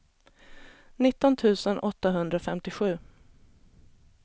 nitton tusen åttahundrafemtiosju